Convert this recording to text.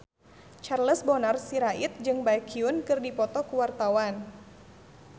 Charles Bonar Sirait jeung Baekhyun keur dipoto ku wartawan